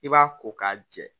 I b'a ko k'a jɛ